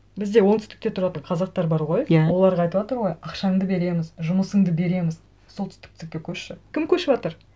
бізде оңтүстікте тұратын қазақтар бар ғой иә оларға айтыватыр ғой ақшаңды береміз жұмысыңды береміз көшші кім көшіватыр